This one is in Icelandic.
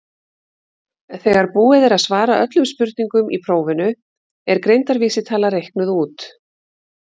þegar búið er að svara öllum spurningum í prófinu er greindarvísitala reiknuð út